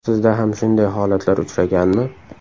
Sizda ham shunday holatlar uchraganmi?